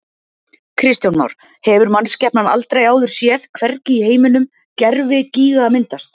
Kristján Már: Hefur mannskepnan aldrei áður séð, hvergi í heiminum, gervigíga myndast?